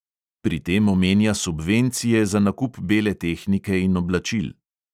Pri tem omenja subvencije za nakup bele tehnike in oblačil.